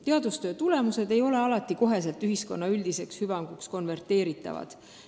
Teadustöö tulemused ei ole alati koheselt ühiskonna üldiseks hüvanguks konverteeritavad.